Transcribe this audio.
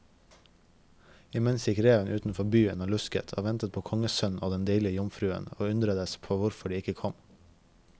Imens gikk reven utenfor byen og lusket og ventet på kongssønnen og den deilige jomfruen, og undredes på hvorfor de ikke kom.